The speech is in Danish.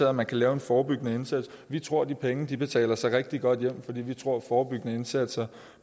at man kan lave en forebyggende indsats vi tror at de penge betaler sig rigtig godt hjem fordi vi tror at forebyggende indsatser